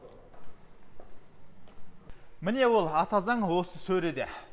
міне ол ата заң осы сөреде